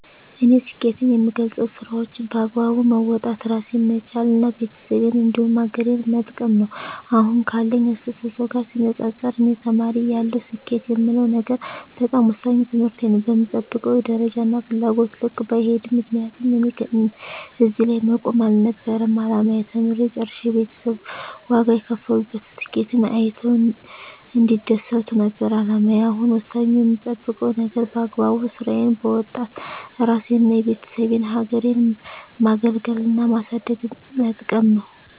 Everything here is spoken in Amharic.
እኔ ስኬትን የምገልፀው ስራዎቸን በአግባቡ መወጣት እራሴን መቻል እና ቤተሰቤን እንዲሁም ሀገሬን መጥቀም ነው። አሁን ካለኝ አስተሳሰብ ጋር ሲነፃፀር እኔ ተማሪ እያለሁ ስኬት የምለው ነገር በጣም ወሳኙ ትምህርቴን ነው በምጠብቀው ደረጃና ፍላጎቴ ልክ ባይሄድም ምክንያቱም እኔ እዚህ ላይ መቆም አልነበረም አላማዬ ተምሬ ጨርሸ ቤተሰብ ዋጋ የከፈሉበትን ስኬቴን አይተው እንዲደሰቱ ነበር አላማዬ አሁን ወሳኙ የምጠብቀው ነገር በአግባቡ ስራዬን በወጣት እራሴንና የቤተሰቤን ሀገሬን ማገልገልና ማሳደግና መጥቀም ነው።